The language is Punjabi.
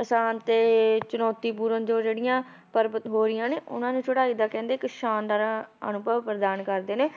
ਆਸਾਨ ਤੇ ਚੁਣੌਤੀ ਪੂਰਨ ਜੋ ਜਿਹੜੀਆਂ ਪਰਬਤ ਬੋਰੀਆਂ ਨੇ ਉਹਨਾਂ ਦੀ ਚੜਾਈ ਦਾ ਕਹਿੰਦੇ ਇੱਕ ਸ਼ਾਨਦਾਰ ਅਨੁਭਵ ਪ੍ਰਦਾਨ ਕਰਦੇ ਨੇ,